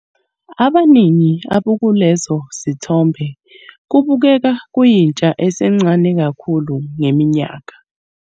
Abaningi abakulezo zithombe kubukeka kuyintsha esencane kakhulu ngeminyaka.